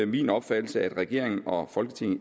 min opfattelse at regeringen og folketinget